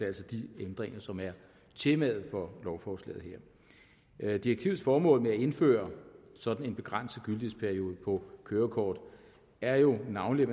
altså de ændringer som er temaet for lovforslaget her direktivets formål med at indføre sådan en begrænset gyldighedsperiode på kørekort er jo navnlig